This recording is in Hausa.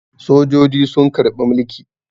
Sojoji sun karɓi mulki.